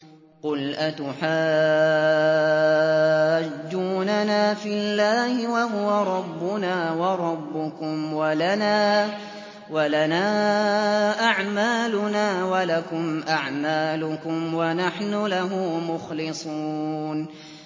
قُلْ أَتُحَاجُّونَنَا فِي اللَّهِ وَهُوَ رَبُّنَا وَرَبُّكُمْ وَلَنَا أَعْمَالُنَا وَلَكُمْ أَعْمَالُكُمْ وَنَحْنُ لَهُ مُخْلِصُونَ